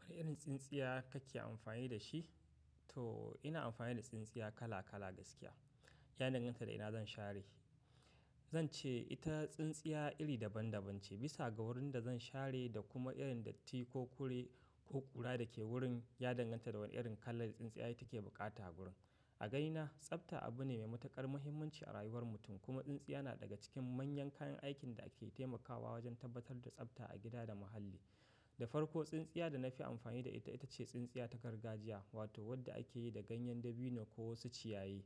Wani irin tsintsiya kake amfani da shi? To, ina amfani da tsintsiya kala kala gaskiya, ya danganta da ina zan share. Zan ce ita tsintsiya iri daban-daban ce, bisa ga wurin da zan share da kuma irin datti ko kure ko ƙura da ke wurin, ya danganta da wane irin kalar tsintsiya take buƙata a wurin. A ganina, tsafta abu ne mai matuƙar mahimmanci a rayuwar mutum kuma tsintsiya na daga cikin manyan kayan aikin da ake taimakawa wajen tabbatar da tsafta a gida da muhalli. Da farko, tsintsiya da na fi amfani da ita ita ce tsintsiya ta gargajiya wato wadda ake yi da ganyen dabino ko wasu ciyaye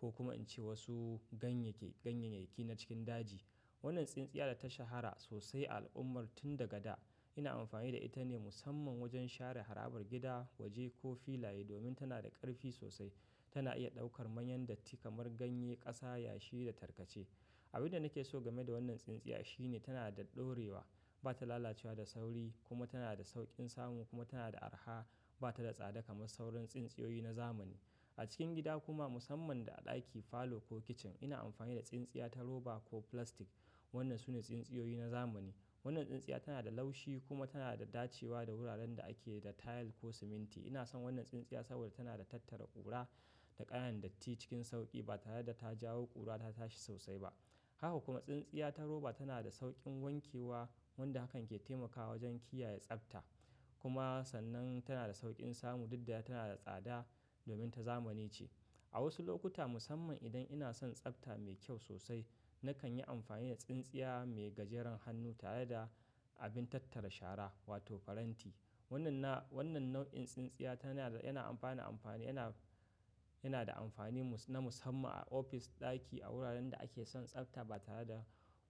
ko kuma in ce wasu ganye ke, ganyenyaƙi na cikin daji. Wannan tsintsiya ta shahara sosai a al'ummar tun daga da. Ina amfani da ita ne musamman wajen share harabar gida, waje ko filaye domin tana da ƙarfi sosai. Tana iya ɗaukar manyan datti kamar ganye, ƙasa, yashi da tarkace. Abin da nake so game da wannan tsintsiya shine tana da ɗorewa, ba ta lalacewa da sauri kuma tana da sauƙin samu kuma tana da araha, ba ta da tsada kamar sauran tsintsiyoyi na zamani. A cikin gida kuma musamman da a ɗaki, falo ko kicin ina amfani da tsintsiya ta roba ko plastic. Wannan sune tsintsiyoyi na zamani. Wannan tsintsiya tana da laushi kuma tana da dacewa da wuraren da ake da tayil ko siminti. Ina son wannan tsintsiya saboda tana da tattara ƙura da ƙananan datti cikin sauƙi ba tare da ta jawo ƙura ta tashi sosai ba. Haka kuma tsintsiya ta roba tana da sauƙin wankewa wanda hakan ke taimakawa wajen kiyaye tsafta. Kuma sannan tana da sauƙin samu daddare tana da tsada domin ta zamani ce. A wasu lokuta musamman idan ina son tsafta mai kyau sosai, nakan yi amfani da tsintsiya mai gajeren hannu tare da abin tattara shara wato faranti. Wannan na, wannan nau'in tsintsiya tana da, yana ba da amfani, yana da amfani na musamman a office, ɗaki, a wuraren da ake son tsafta ba tare da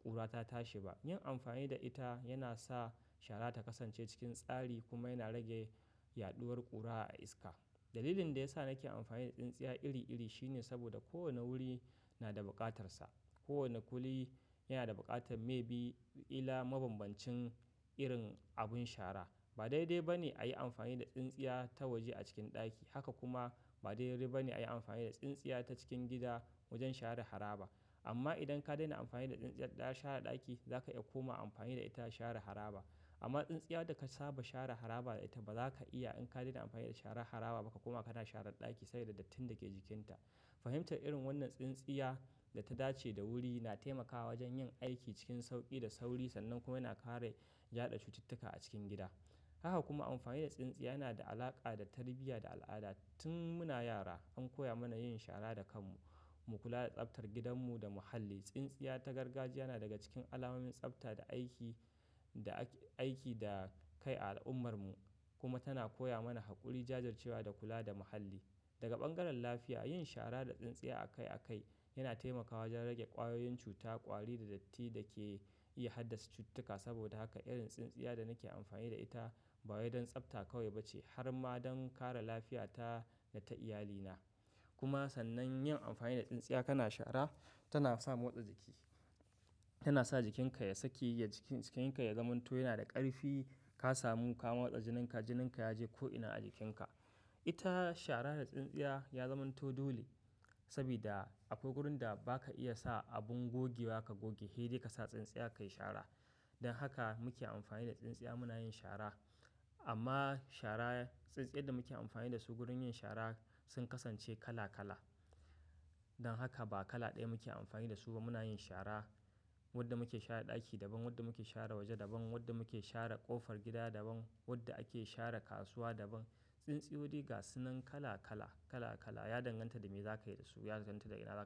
ƙura ta tashi ba. Yin amfani da ita yana sa shara ta kasance cikin tsari kuma yana rage yaɗuwar ƙura a iska. Dalilin da ya sa nake amfani da tsintsiya iri iri shine saboda kowane wuri na da bukatarsa. Kowane wuri yana da buƙatar maybe kila mabambancin irin abin shara. Ba daidai ba ne a yi amfani da tsintsiya ta waje a cikin ɗaki. Haka kuma ba daidai ba ne a yi amfani da tsintsiya ta cikin gida wajen share haraba. Amma idan ka daina amfani da tsintsiyar share ɗaki, za ka iya koma amfani da ita a share haraba. Amma tsintsiyar da ka saba share haraba da ita bazaka iya in ka daina amfani da share haraba kuma kana share ɗaki saboda dattin da ke jikinta. Fahimtar irin wannan tsintsiya da ta dace da wuri na taimakawa wajen yin aiki cikin sauƙi da sauri sannan kuma yana kare jaɗa cututtuka a cikin gida. Haka kuma amfani da tsintsiya yana da alaƙa da tarbiyya da al'ada. Tun muna yara an koya mana yin shara da kanmu, mu kula da tsaftar gidanmu da muhalli. Tsintsiya ta gargajiya na daga cikin alamomin tsafta da aiki, da aiki da kai a al'ummar mu kuma tana koya mana haƙuri, jajircewa da kula da muhalli. Daga bangaren lafiya, yin shara da tsintsiya akai akai yana taimakawa wajen rage ƙwayoyin cuta, ƙwari da datti da ke iya haddasa cututtuka. Saboda haka irin tsintsiya da nake amfani da ita ba wai don tsafta kawai ba ce har ma don kare lafiya ta da ta iyalina. Kuma sannan yin amfani da tsintsiya kana shara tana sa motsa jiki, tana sa jikinka ya sake, jikinka ya zamanto yana da ƙarfi. Ka samu ka motsa jininka, jininka yaje ko'ina a jikinka. Ita shara da tsintsiya ya zamanto dole sabida akwai wurin da ba ka iya sa abin gogewa ka goge, hei dai ka sa tsintsiya ka yi shara. Dan haka muke amfani da tsintsiya muna yin shara. Amma shara, tsintsiyar da muke amfani da su wurin yin shara sun kasance kala kala. Dan haka ba kala ɗaya muke amfani da su muna yin shara. Wadda muke share ɗaki daban, wadda muke share waje daban, wadda muke share ƙofar gida daban, wadda ake share kasuwa daban. Tsintsiyoyi dai gasunan kala kala, kala kala. Ya danganta da me zaka yi da su, ya danganta da ina zaka yi.